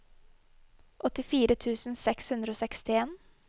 åttifire tusen seks hundre og sekstien